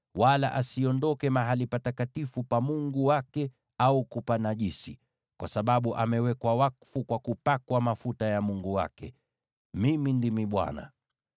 wala asiondoke mahali patakatifu pa Mungu wake au kupanajisi, kwa sababu amewekwa wakfu kwa mafuta ya Mungu wake. Mimi ndimi Bwana .